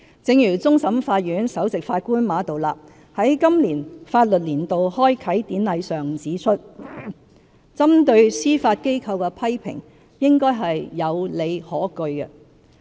正如終審法院首席法官馬道立在今年法律年度開啟典禮上指出，針對司法機構的批評應該是有理可據。